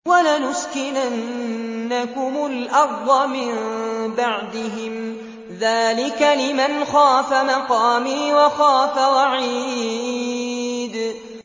وَلَنُسْكِنَنَّكُمُ الْأَرْضَ مِن بَعْدِهِمْ ۚ ذَٰلِكَ لِمَنْ خَافَ مَقَامِي وَخَافَ وَعِيدِ